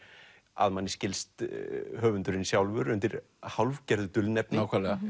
að manni skilst höfundurinn sjálfur undir hálfgerðu dulnefni